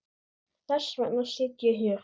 Þess vegna sit ég hér.